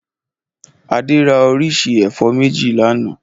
Adé ra oríṣi ẹ̀fọ́ méjì lánàá?